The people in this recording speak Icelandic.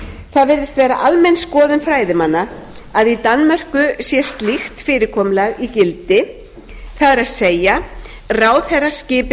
það virðist vera almenn skoðun fræðimanna að í danmörku sé slíkt fyrirkomulag í gildi það ráðherra skipi